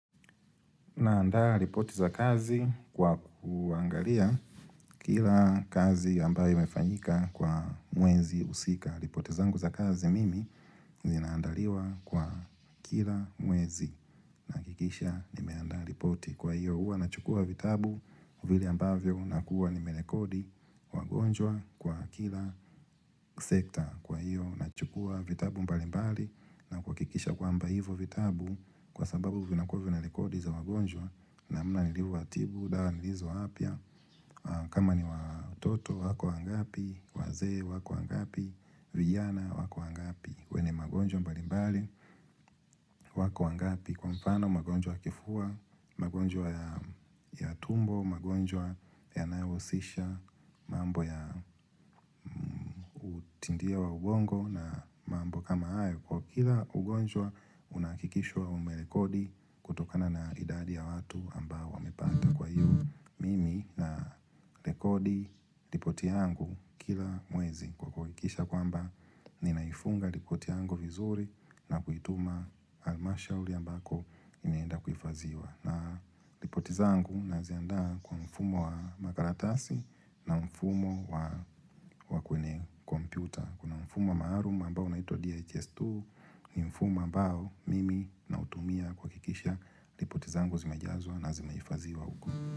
Naanda ripoti za kazi kwa kuangalia kila kazi ambayo imefanyika kwa mwezi husika. Ripoti zangu za kazi mimi, zinaandaliwa kwa kila mwezi. Nahakikisha nimeandaa ripoti kwa hiyo huwa nachukua vitabu vile ambavyo nakuwa nimerekodi wagonjwa kwa kila sekta. Kwa hiyo, nachukua vitabu mbalimbali na kuhakikisha kwamba hivo vitabu Kwa sababu vinakuwa vina rekodi za wagonjwa namna nilivyowatibu, dawa nilizo wapea kama ni watoto, wako wangapi wazee, wako wangapi vijana, wako wangapi wenye magonjwa mbalimbali, wako wangapi Kwa mfano, magonjwa ya kifua magonjwa ya tumbo magonjwa ya nayohusisha mambo ya utindia wa ugongo na mambo kama hayo. Kwa kila ugonjwa unahakikishwa ume rekodi kutokana na idadi ya watu ambao wamepata kwa hiyo Mimi na rekodi ripoti yangu kila mwezi kwa kuhakikisha kwamba ninaifunga ripoti yangu vizuri na kuituma al-mashauri ambako inaenda kuifadhiwa na ripoti zangu naziandaa kwa mfumo wa makaratasi na mfumo wa wa kwenye kompyuta. Kuna mfumo maalum ambao unaitwa DHS2 ni mfumo ambao mimi nautumia kuhakikisha ripoti zangu zimejazwa na zimehifadhiwa huko.